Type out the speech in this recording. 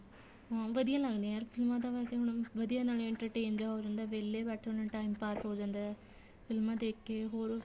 ਹਾਂ ਵਧੀਆ ਲੱਗਦੀਆਂ ਫ਼ਿਲਮਾ ਤਾਂ ਵੈਸੇ ਹੁਣ ਵਧੀਆ ਨਾਲੇ entertain ਜਾ ਹੋ ਜਾਂਦਾ ਵੇਲੇ ਬੈਠੇ ਹੁੰਨੇ ਏ time pass ਹੋ ਜਾਂਦਾ ਫ਼ਿਲਮਾ ਦੇਖ ਕੇ ਹੋਰ